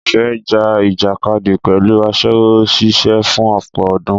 Ìfẹ́ ja ìjàkadì pẹ̀lú aṣẹ́wó ṣíṣe fún ọ̀pọ̀ ọdún.